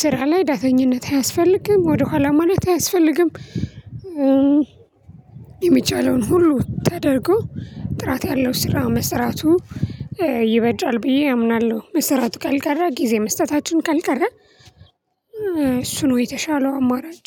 ስራ ላይ ዳተኝነት አያስፈልግም ወደ ኋላ ማለት አያስፈልግም። የሚቻለውን ሁሉ ተደርጎ ጥራት ያለው ስራ መስራቱ ይበጃል ብዬ አምናለሁ። መስራቱ ካልቀረ ጊዜ መስጠታችን ካልቀረ እሱ ነው የተሻለው አማራጭ።